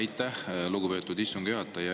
Aitäh, lugupeetud istungi juhataja!